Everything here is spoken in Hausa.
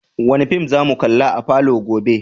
Wani fim za mu kalla a falo gobe?